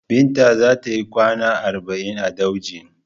Binta za ta yikwana arba'in a daujin.